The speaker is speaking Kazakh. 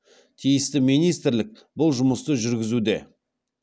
тиісті министрлік бұл жұмысты жүргізуде